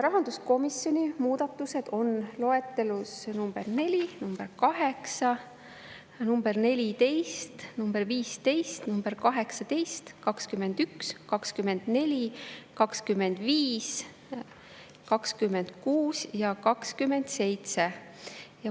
Rahanduskomisjoni muudatused on loetelus nr 4, nr 8, nr 14, nr 15 ja nr-d 18, 21, 24, 25, 26 ja 27.